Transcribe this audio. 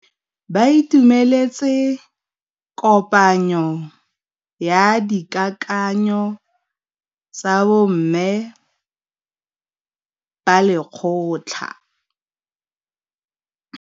Ba itumeletse kôpanyo ya dikakanyô tsa bo mme ba lekgotla.